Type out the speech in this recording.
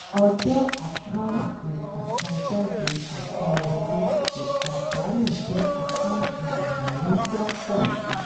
ọjọ́ àkáǹtì àsanjáde àsanwọlé ìpàdánù jẹ́ àkáǹtì ìnáwó tó ń pọ̀ si.